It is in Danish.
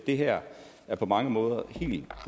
det her er på mange måder helt